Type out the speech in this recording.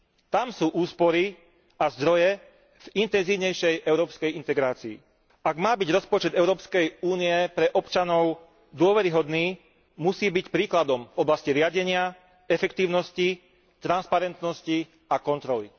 Tam sú úspory a zdroje v intenzívnejšej európskej integrácii. Ak má byť rozpočet Európskej únie pre občanov dôveryhodný, musí byť príkladom v oblasti riadenia, efektívnosti, transparentnosti a kontroly.